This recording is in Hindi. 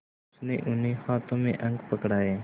उसने उन्हें हाथों में अंक पकड़ाए